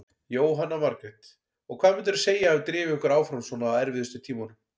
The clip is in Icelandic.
Jóhanna Margrét: Og hvað myndirðu segja að hafi drifið ykkur áfram svona á erfiðustu tímunum?